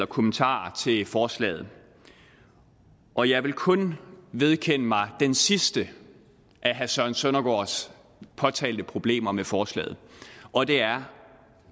kommentarer til forslaget og jeg vil kun vedkende mig det sidste af herre søren søndergaards påtalte problemer med forslaget og det er